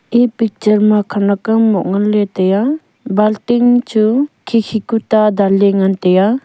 e picture ma khenak ham moh nganley taiya bun tin chu khikhi ku ta danley ngan taiya.